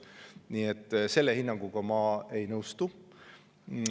Nii et selle hinnanguga ma ei nõustu.